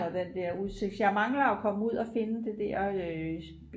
jeg mangler at komme ud og finde det der